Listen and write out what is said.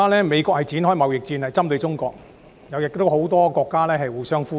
美國現正針對中國發動貿易戰，很多國家也與美國互相呼應。